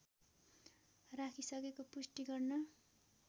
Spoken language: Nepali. राखिसकेको पुष्टि गर्न